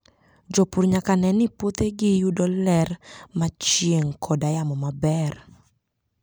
Jopur nyaka ne ni puothegi yudo ler mar chieng' koda yamo maber